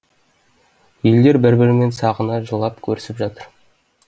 елдер бір бірімен сағына жылап көрісіп жатыр